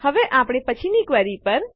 હવે આપણી પછીની ક્વેરી પર